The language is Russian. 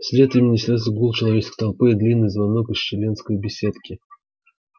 вслед им несётся гул человеческой толпы и длинный звонок из членской беседки